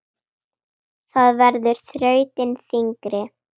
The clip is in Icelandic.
Það verður þrautin þyngri.